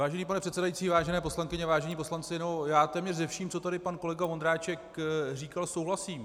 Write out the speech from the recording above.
Vážený pane předsedající, vážené poslankyně, vážení poslanci, já téměř se vším, co tady pan kolega Ondráček říkal, souhlasím.